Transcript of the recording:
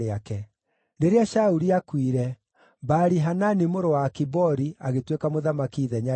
Rĩrĩa Shauli aakuire, Baali-Hanani mũrũ wa Akibori agĩtuĩka mũthamaki ithenya rĩake.